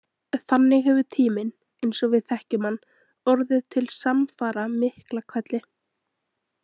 Þannig hefur tíminn, eins og við þekkjum hann, orðið til samfara Miklahvelli.